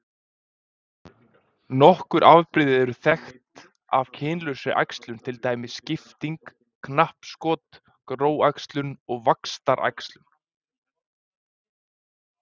Nokkur afbrigði eru þekkt af kynlausri æxlun til dæmis skipting, knappskot, gróæxlun og vaxtaræxlun.